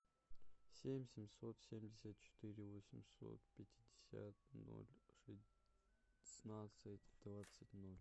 семь семьсот семьдесят четыре восемьсот пятьдесят ноль шестнадцать двадцать ноль